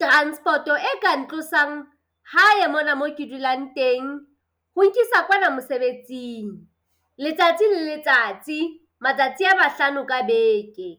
transport e ka ntlosang hae mona mo ke dulang teng. Ho nkisa kwana mosebetsing letsatsi le letsatsi, matsatsi a mahlano ka beke.